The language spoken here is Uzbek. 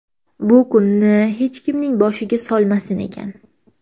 Bu kunni hech kimning boshiga solmasin ekan.